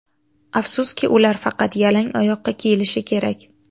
Afsuski, ular faqat yalang oyoqqa kiyilishi kerak.